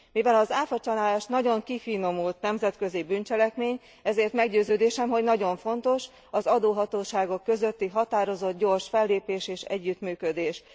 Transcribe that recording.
Mivel az áfacsalás nagyon kifinomult nemzetközi bűncselekmény, ezért meggyőződésem, hogy nagyon fontos az adóhatóságok közötti határozott, gyors fellépés és együttműködés.